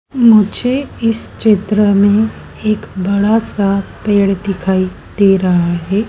मुझे इस चित्र में एक बड़ा सा पेड़ दिखाई दे रहा है।